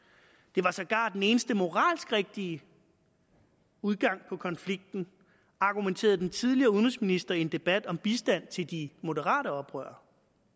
det var sågar den eneste moralsk rigtige udgang på konflikten argumenterede den tidligere udenrigsminister i en debat om bistand til de moderate oprørere